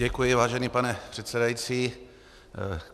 Děkuji, vážený pane předsedající.